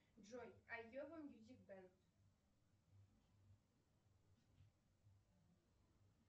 джой айова мьюзик бэнд